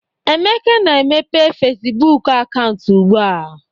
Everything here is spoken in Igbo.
Emeka na-emepe Fesibuuku akaụntụ ugbua.